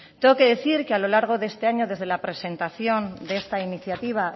tengo que decir que a lo largo de este año desde la presentación de esta iniciativa